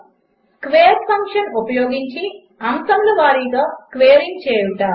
5 square function ఉపయోగించి అంశముల వారిగా స్క్వేరింగ్ చేయుట